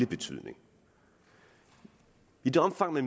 betydning i det omfang at